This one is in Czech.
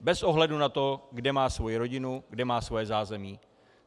Bez ohledu na to, kde má svoji rodinu, kde má svoje zázemí.